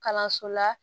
Kalanso la